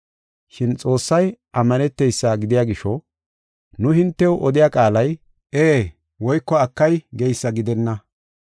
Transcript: Shin Xoossay ammaneteysa gidiya gisho, nu hintew odiya qaalay “Ee” woyko “Akay” geysa gidenna.